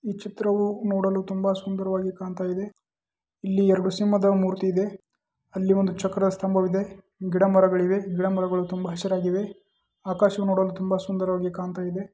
ಈ ಚಿತ್ರವು ನೋಡಲು ತುಂಬಾ ಸುಂದರವಾಗಿ ಕಾಣ್ತಾಯಿದೆ. ಇಲ್ಲಿ ಎರಡು ಸಿಂಹದ ಮೂತಿ ಇದೆ. ಅಲ್ಲಿ ಒಂದು ಜಗಳ ಇದೆ. ಈಕಡೆ ಮರಗಳಿವೆ. ಈ ಕಡೆ ಮರಗಳು ತುಂಬಾ ಚೆನ್ನಾಗಿವೆ. ಆಕಾಶ ನೋಡಲು ತುಂಬಾ ಸುಂದರವಾಗಿ ಕಾಣ್ತಾಯಿದೆ.